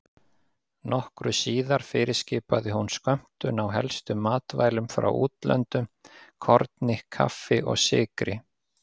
Nokkru síðar fyrirskipaði hún skömmtun á helstu matvælum frá útlöndum: korni, kaffi og sykri.